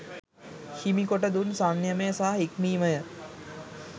හිමි කොට දුන් සංයමය සහ හික්මීමය.